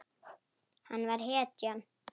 Hann var hetjan.